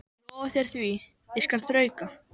Ég lofa þér því, ég skal þrauka.